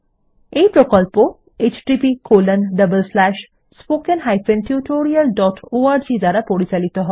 এই প্রকল্প httpspoken tutorialorg দ্বারা পরিচালিত হয়